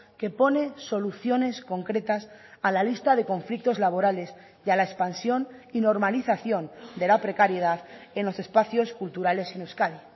que pone soluciones concretas a la lista de conflictos laborales y a la expansión y normalización de la precariedad en los espacios culturales en euskadi